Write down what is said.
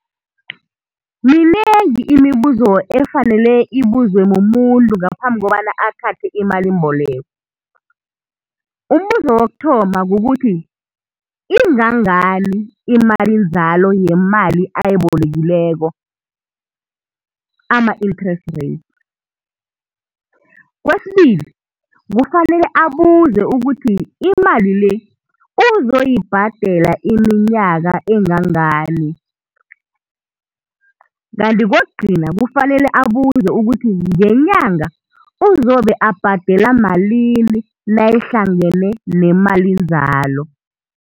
Minengi imibuzo efanele ibuzwe mumuntu ngaphambi kobana athathe imalimboleko. Umbuzo wokuthoma kukuthi ingangani imalinzalo yemali ayibolekileko ama-interest rates. Kwesibili kufanele abuze ukuthi imali le uzoyibhadela iminyaka engangani. Kanti kokugcina kufanele abuze ukuthi ngenyanga uzobe abhadela malini nayihlangene nemalinzalo.